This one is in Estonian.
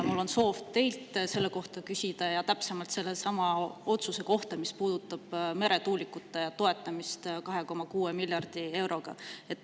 Mul on soov teilt selle kohta küsida, ja täpsemalt selle otsuse kohta, mis puudutab meretuulikute toetamist 2,6 miljardi euroga.